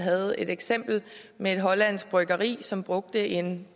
havde et eksempel med et hollandsk bryggeri som brugte en